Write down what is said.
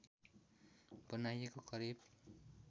बनाइएको करिब